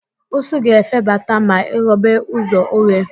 Ụsụ ga-efebata ma I ghobe ụzọ oghe